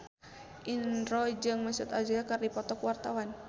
Indro jeung Mesut Ozil keur dipoto ku wartawan